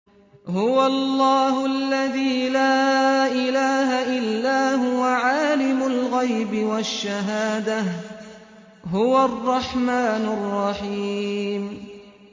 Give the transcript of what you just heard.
هُوَ اللَّهُ الَّذِي لَا إِلَٰهَ إِلَّا هُوَ ۖ عَالِمُ الْغَيْبِ وَالشَّهَادَةِ ۖ هُوَ الرَّحْمَٰنُ الرَّحِيمُ